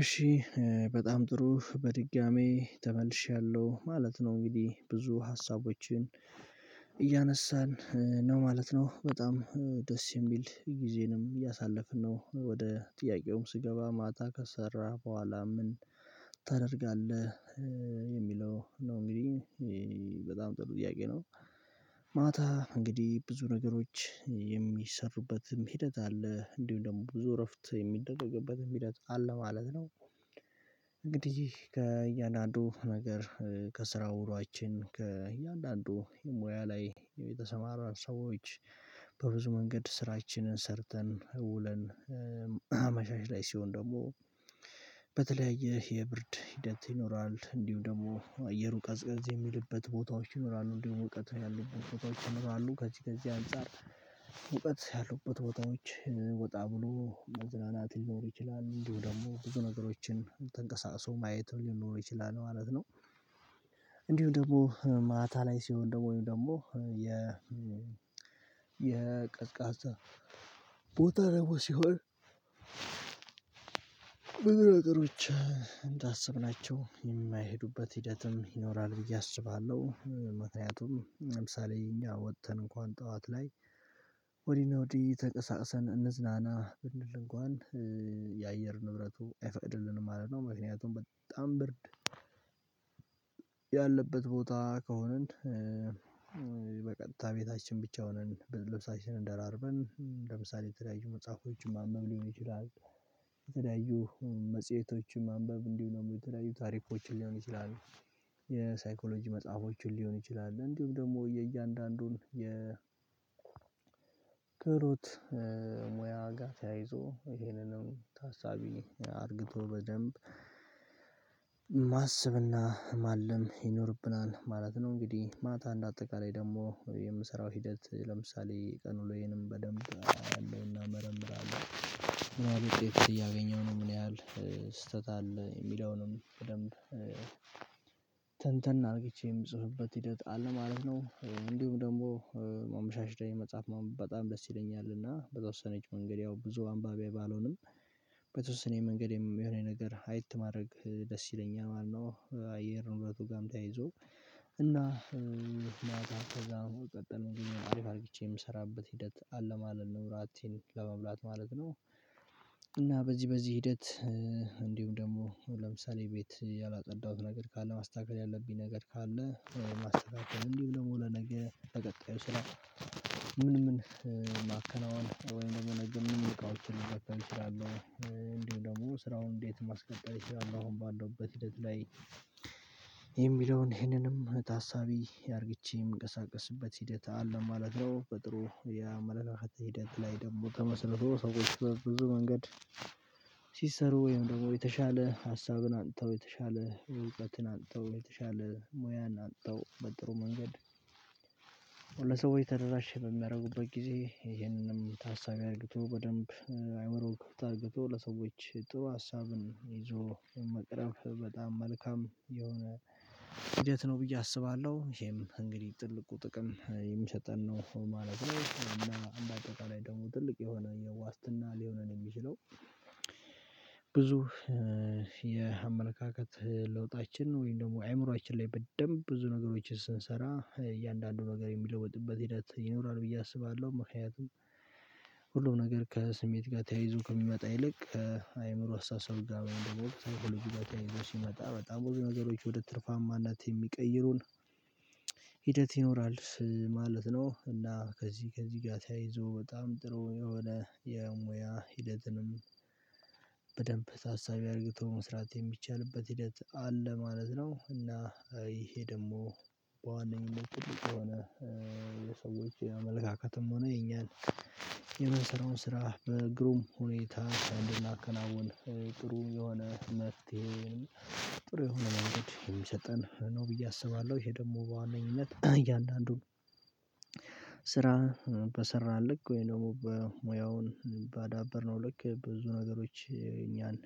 እሺ በጣም ጥሩ! በድጋሚ ተመልሻለሁ ማለት ነው። እንግዲህ ብዙ ሀሳቦችን እያነሳን ነው ማለት ነው። በጣም ደስ የሚል ጊዜንም እያሳለፍን ነው። ወደ ጥያቄውም ስገባ፥ ማታ ከሰራህ በኋላ ምን ታደርጋለህ የሚለው ነው እንግዲህ በጣም ጥሩ ጥያቄ ነው። ማታ እንግዲህ ብዙ ነገሮች የሚሰሩበትም ሂደት አለ እንዲሁም ደግሞ ብዙ እረፍት የሚደረግበትም ሂደት አለ ማለት ነው። እንግዲህ ከእያንዳንዱ ነገር ከስራ ውሎአችን ከእያንዳንዱ ሙያ ላይ የተሰማራን ሰዎች በብዙ መንገድ ስራችንን ሰርተን ውለን አመሻሽ ላይ ሲሆን ደግሞ በተለያየ የብርድ ሂደት ይኖራል እንዲሁ ደግሞ አየሩ ቀዝቀዝ የሚልበት ቦታዎች ይኖራሉ እንዲሁም ሙቀት ያሉበት ቦታዎች ይኖራሉ። ከዚህ ከዚህ አንፃር ሙቀት ያሉበት ቦታዎች ወጣ ብሎ መዝናናት ሊኖር ይችላል እንዲሁም ደግሞ ብዙ ነገሮችን ተንቀሳሶ ማየትም ሊኖር ይችላል ማለት ነው። እንዲሁም ደግሞ ማታ ላይ ሲሆን ደግሞ ወይም ደግሞ የ የቀዝቃዛ ቦታ ደግሞ ሲሆን ብዙ ነገሮች እንዳሰብናቸው የማይሄዱበት ሂደትም ይኖራል ብዬ አስባለሁ። ምክንያቱም ለምሳሌ እኛ ወጥተን እንኳን ጠዋት ላይ ወዲህ እና ወዲህ ተንቀሳቅሰን እንዝናና ብንል እንኳን የአየር ንብረቱ አይፈቅድልንም ማለት ነው። ምክንያቱም በጣም ብርድ ያለበት ቦታ ከሆንን በቀጥታ ቤታችን ብቻ ሆነን ብርድ ልብሳችንን ደራርበን ለምሳሌ የተለያዩ መጽሐፎችን ማንበብ ሊሆን ይችላል የተለያዩ መጽሄቶችን ማንበብ እንዲሁም ደግሞ የተለያዩ ታሪኮችን ሊሆን ይችላል የሳይኮሎጂ መጽሐፎችን ሊሆን ይችላል እንዲሁም ደግሞ የእያንዳንዱን የ ክህሎት ሙያ ጋር ተያይዞ ይሄንንም ታሳቢ አርግቶ በደንብ ማሰብና ማለም ይኖርብናል ማለት ነው። እንግዲህ ማታ እንደ አጠቃላይ ደግሞ የምሰራው ሂደት ለምሳሌ ቀን ውሎዬንም በደንብ አያለውና መረምራለሁ ምን ያህል ውጤት እያገኘሁ ነው? ምን ያህል ስህተት አለ የሚለውንም በደንብ ትንትን አርግቼ የምጽፍበት ሂደት አለ ማለት ነው። እንዲሁም ደግሞ አመሻሽ ላይ መጽሐፍ ማንበብ በጣም ደስ ይለኛል እና በተወሰነች መንገድ ያው ብዙ አንባቢ ባልሆንም በተወሰነ መንገድም የሆነ ነገር አየት ማድረግ ደስ ይለኛል ማለት ነው አየር ንብረቱ ጋም ተያይዞ እና ከዛ በመቀጠል አሪፍ አርግቼ የምሰራበት ሂደት አለ ማለል ነው እራቴን ለመብላት ማለት ነው እና በዚህ በዚህ ሂደት እንዲሁም ደግሞ ለምሳሌ ቤት ያላጸዳሁት ነገር ካለ ማስተካከል ያለብኝ ነገር ካለ ማስተካከል እንዲሁም ደግሞ ለነገ ተቀጣዩ ስራ ምን ምን ማከናወን ወይም ደግሞ ነገ ምን ምን እቃዎችን ልጠቀም እችላለሁ? እንዲሁም ደግሞ ስራውን እንዴት ማስቀጠል እችላለሁ አሁን ባለሁበት ሂደት ላይ የሚለውን ይሄንንም ታሳቢ አርግቼ የምንቀሳቀስበት ሂደት አለ ማለት ነው። በጥሩ የአመለካከት ሂደት ላይ ደግሞ ተመስርቶ ሰዎች በብዙ መንገድ ሲሰሩ ወይም ደግሞ የተሻለ ሀሳብን አምጥተው የተሻለ ጉልበትን አምጥተው የተሻለ ሙያን አምጥተው በጥሩ መንገድ ለሰዎች ተደራሽ በሚያደርጉበት ጊዜ ይህንንም ታሳቢ አርግቶ በደንብ አእምሮን ክፍት አርግቶ ለሰዎች ጥሩ ሀሳብን ይዞ መቅረብ በጣም መልካም የሆነ ሂደት ነው ብዬ አስባለሁ። ይሄም እንግዲህ ትልቁ ጥቅም የሚሰጠን ነው ማለት ነው እና እንደ አጠቃላይ ደግሞ ትልቅ የሆነ የዋስትና ሊሆነን የሚችለው ብዙ የአመለካከት ለውጣችን ወይም ደግሞ አእምሮአችን ላይ በደንብ ብዙ ነገሮችን ስንሰራ እያንዳንዱ ነገር የሚለወጥበት ሂደት ይኖራል ብዬ አስባለሁ። ምክንያቱም ሁሉም ነገር ከስሜት ጋር ተያይዞ ከሚመጣ ይልቅ አእምሮ አስተሳሰብ ጋር ወይም ደግሞ ከሳይኮሎጂ ጋር ይዞ ሲመጣ በጣም ብዙ ነገሮች ወደ ትርፋማነት የሚቀይሩን ሂደት ይኖራል ማለት ነው እና ከዚህ ከዚህ ጋር ተያይዞ በጣም ጥሩ የሆነ የሙያ ሂደትንም በደንብ ታሳቢ አርግቶ መስራት የሚቻልበት ሂደት አለ ማለት ነው እና ይሄ ደግሞ በዋነኝነት ትልቅ የሆነ የሰዎች አመለካከትም ሆነ የኛን የምንሰራውን ስራ በግሩም ሁኔታ እንድናከናውን ጥሩ የሆነ መፍትሄ ጥሩ የሆነ መንገድ የሚሰጠን ነው ብዬ አስባለሁ። ይሄ ደግሞ በዋነኝነት እያንዳንዱን ስራ በሰራን ልክ ወይም ደግሞ በሙያውን ባዳበርነው ልክ ብዙ ነገሮች እኛን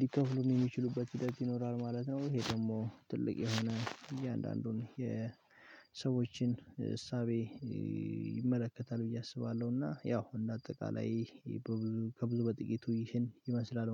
ሊከፍሉን የሚችሉበት ሂደት ይኖራል ማለት ነው። ይሄ ደግሞ ትልቅ የሆነ እያንዳንዱን የሰዎችን እሳቤ ይመለከታል ብዬ አስባለሁ እና ያው እንደ አጠቃላይ በብዙ ከብዙ በጥቂቱ ይህን ይመስላል